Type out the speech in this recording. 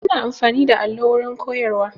Ana amfani da allo wurin koyarwa